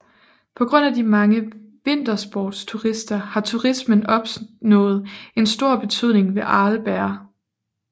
På grund af de mange vintersportsturister har turismen opnået en stor betydning ved Arlberg